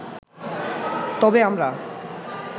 তবে আমরা